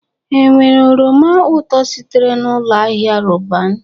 Enwere oroma ụtọ sitere na Ụlọ Ahịa Roban?